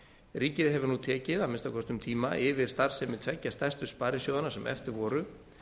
ríkið hefur nú tekið að minnsta kosti um tíma yfir starfsemi tveggja stærstu sparisjóðanna sem eftir voru